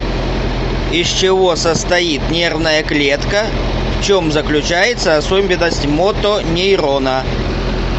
из чего состоит нервная клетка в чем заключается особенность мотонейрона